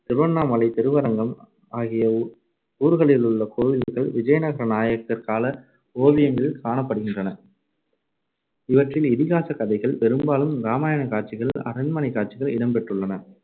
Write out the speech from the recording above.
திருவண்ணாமலை, திருவரங்கம் ஆகிய ஊர்களிலுள் கோவில்கள் விஜயநகர நாயக்கர் கால ஓவியங்கள் காணப்படுகின்றன இவற்றில் இதிகாசக் கதைகள், பெரும்பாலும் ராமாயணக் காட்சிகள், அரண்மனைக் காட்சிகள் இடம் பெற்றுள்ளன.